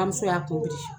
Bamuso y'a